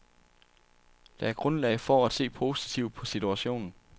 Der er grundlag for at se positivt på situationen.